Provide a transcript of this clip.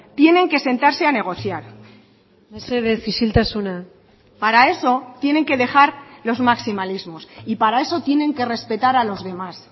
tienen que sentarse a negociar mesedez isiltasuna para eso tienen que dejar los maximalismos y para eso tienen que respetar a los demás